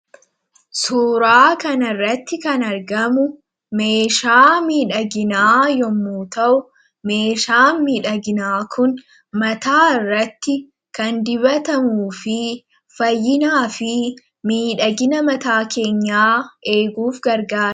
suuraa kan irratti kan argamu meeshaa miidhaginaa yommu ta'u meeshaa miidhaginaa kun mataa irratti kan dibatamu fi fayyinaa fi miidhagina mataa keenyaa eeguuf gargaae